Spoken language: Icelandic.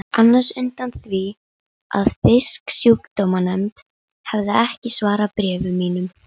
Hún sér að Hallmundur á í vök að verjast.